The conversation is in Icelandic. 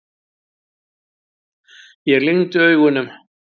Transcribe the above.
Ég lygni augunum.